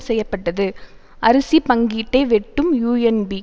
செய்ய பட்டது அரிசிப் பங்கீட்டை வெட்டும் யூஎன்பி